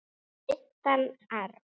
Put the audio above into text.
Eða meintan arf.